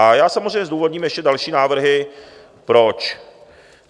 A já samozřejmě zdůvodním ještě další návrhy proč.